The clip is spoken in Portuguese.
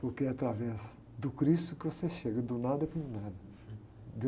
Porque é através do cristo que você chega, do nada para o nada